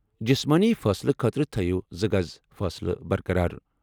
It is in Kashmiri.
جسمٲنی فٲصلہٕ خٲطرٕ تھٲیِو زٕ گز فٲصلہٕ برقرار۔